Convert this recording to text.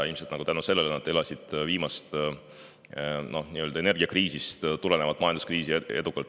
Ilmselt tänu sellele elasid nad viimase, energiakriisist tuleneva majanduskriisi edukalt üle.